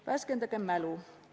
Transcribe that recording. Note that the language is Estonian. Värskendagem mälu!